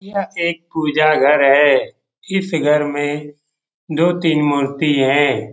यह एक पूजा घर है इस घर में दो तीन मूर्ति हैं ।